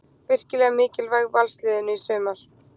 Virkilega mikilvæg Valsliðinu í sumar.